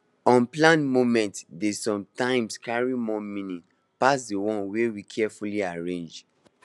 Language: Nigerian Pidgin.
unplanned moments dey sometimes carry more meaning pass di ones wey we carefully arrange